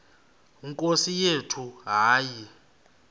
nkosi yethu hayi